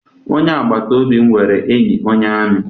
Onye agbataobi m nwere enyi onye amị.